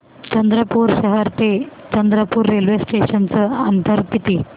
चंद्रपूर शहर ते चंद्रपुर रेल्वे स्टेशनचं अंतर किती